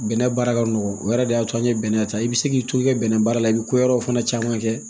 Bɛnɛ baara ka nɔgɔ o yɛrɛ de y'a to an ye bɛnɛ ta i bɛ se k'i to i ka bɛnɛ baara la i bɛ ko wɛrɛw fana caman kɛ